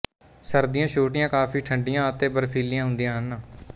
ਸਰਦੀਆਂ ਛੋਟੀਆਂ ਕਾਫ਼ੀ ਠੰਢੀਆਂ ਅਤੇ ਬਰਫ਼ੀਲੀਆਂ ਹੁੰਦੀਆਂ ਹਨ